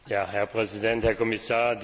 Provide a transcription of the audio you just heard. Herr Präsident, Herr Kommissar!